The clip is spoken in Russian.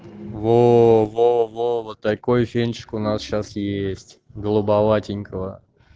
во-во-во вот такой фенчик у нас сейчас есть голубоватенького